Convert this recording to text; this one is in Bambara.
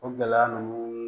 O gɛlɛya ninnu